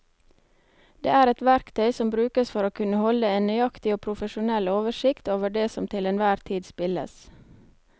Det er et verktøy som brukes for å kunne holde en nøyaktig og profesjonell oversikt over det som til enhver tid spilles.